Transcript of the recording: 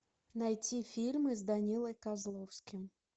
найти фильмы с данилой козловским